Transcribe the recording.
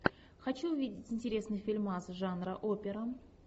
хочу увидеть интересный фильмас жанра опера